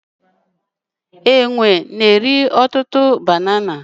Enwe na-eri ọtụtụ banana.